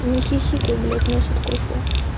не хихикай блять нос откушу